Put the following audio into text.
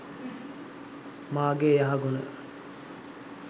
මාගේ යහගුණ